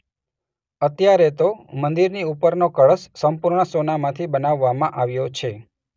અત્યારે તો મંદિરની ઉપરનો કળશ સંપૂર્ણ સોનામાંથી બનાવવામાં આવ્યો છે.